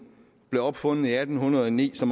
blev opfundet i atten hundrede og ni så